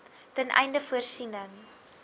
ten einde voorsiening